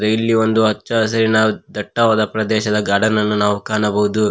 ಇಲ್ಲಿ ಒಂದು ಹಚ್ಚ ಹಸಿರಿನ ದಟ್ಟವಾದ ಪ್ರದೇಶದ ಗಾರ್ಡನ್ ಅನ್ನು ನಾವು ಕಾಣಬಹುದು.